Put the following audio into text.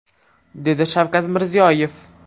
dedi Shavkat Mirziyoyev.